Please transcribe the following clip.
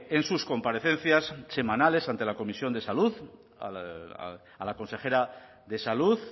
en sus comparecencias semanales ante la comisión de salud a la consejera de salud